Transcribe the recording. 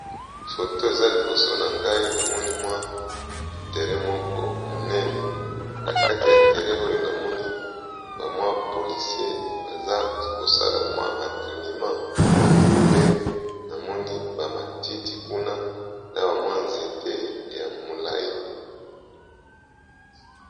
Foto eza liboso na ngai, na moni mwa terin moko monene. Na kati ya terin oyo, na moni ba mwa polisier, baza kosala mwa entrenema. Pe na moni, ba matiti kuna na ba mwa nzete ya molai.